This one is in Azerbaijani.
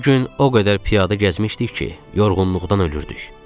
O gün o qədər piyada gəzmişdik ki, yorğunluqdan ölürdük.